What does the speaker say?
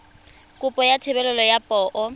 kopo ya thebolo ya poo